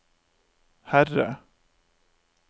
Herre